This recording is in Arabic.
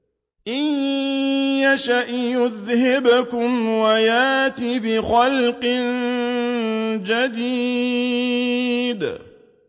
إِن يَشَأْ يُذْهِبْكُمْ وَيَأْتِ بِخَلْقٍ جَدِيدٍ